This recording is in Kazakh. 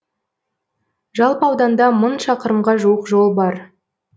жалпы ауданда мың шақырымға жуық жол бар